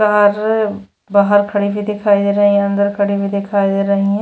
और बाहर खड़ी भी दिखाई दे रही है अंदर खड़ी भी दिखाई दे रही है।